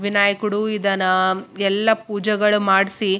ಹಸಿರು ಬಣ್ಣದ ಶರ್ಟ ಹಾಕೊಂಡು ವೈಟ ಕಲರ್‌ ಟೊಪಿ ಹಾಕಿದ್ದಾರೆ .